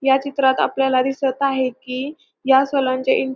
या चित्रात आपल्याला दिसत आहे की या सलोन चे इन --